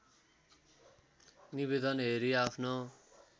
निवेदन हेरी आफ्नो